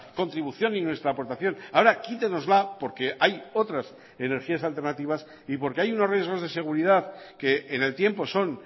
contribución y nuestra aportación ahora quítenosla porque hay otras energías alternativas y porque hay unos riesgos de seguridad que en el tiempo son